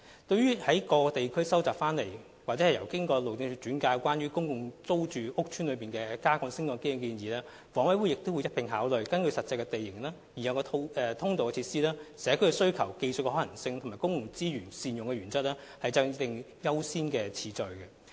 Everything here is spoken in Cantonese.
至於在各地區蒐集所得或經由路政署轉介有關公共租住屋邨內加建升降機的建議，房委會亦會一併考慮，根據實際地形、已有的通道設施、社區需求、技術可行性及善用公共資源原則等，制訂優先次序。